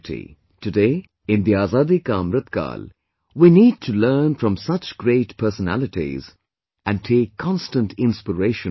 Today, in 'Azadi ka AmritKaal', we need to learn from such great personalities and take constant inspiration from them